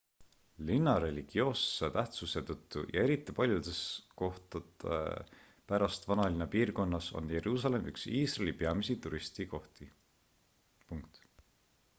linna religioosse tähtsuse tõttu ja eriti paljude kohtade pärast vanalinna piirkonnas on jeruusalemm üks iisraeli peamisi turismisihtkohti